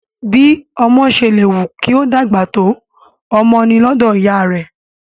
Bí ọmọ ṣe lè wù kí ó dàgbà tó, ọmọ ni lọ́dọ̀ ìyá rẹ̀